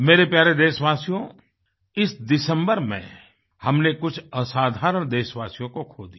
मेरे प्यारे देशवासियो इस दिसम्बर में हमने कुछ असाधारण देशवासियों को खो दिया